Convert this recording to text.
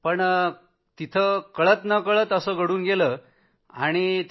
पण तिथं कळत नकळत असं घडून गेलं होतं